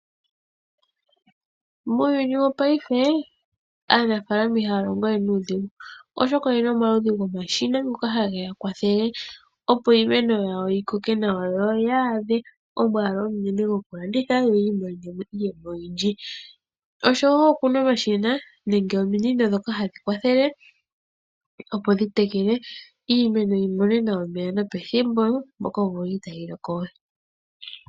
Muuyuni wongashingeyi aanafaalama ihaya longowe nuudhigu, oshoka oyena omaludhi gomashina ngoka hageya kwathele opo iimeno yawo yikoke nawa yoya adhe omwaalu omunene gokulanditha yoyi imonene mo iiyemo oyindji. Opuna omashina nenge ominino ndhoka hadhi kwathele opo dhi tekele iimeno yimone omeya nopethimbo mpoka omvula itayi loko we.